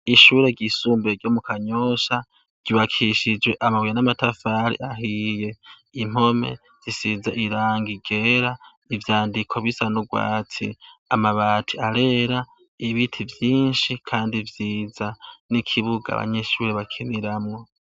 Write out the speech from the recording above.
Ishure ryisumbue ryo mu kanyosha ryibakishijwe amabuye n'amatafari ahiye impome zisiza iranga igera ivyandiko bisanurwatsiye amabati arera ibiti vyinshi, kandi vyiza n'ikibuga abanyishuri bakiniramwo.